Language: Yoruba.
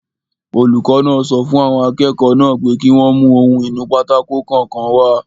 Olùkọ́ náà sọ fún àwọn akẹ́kọ̀ọ́ náà pé kí wọ́n mú ohun-ìnúpátákó kọ̀ọ̀kan wá